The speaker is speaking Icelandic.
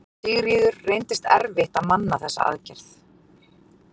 Sigríður: Reyndist erfitt að manna þessa aðgerð?